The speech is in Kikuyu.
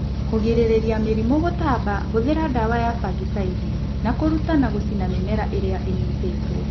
Kũgirĩrĩria mĩrimũ gũtamba hũthĩra dawa ys fangicaidi na kũruta na gũcina mĩmera ĩrĩa ĩnyitĩtwo.